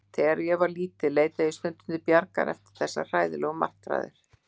Þegar ég var lítil leitaði ég stundum til Bjargar eftir þessar hræðilegu martraðir.